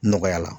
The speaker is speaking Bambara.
Nɔgɔya la